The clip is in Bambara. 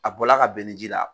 A bɔra ka bɛn ni ji la.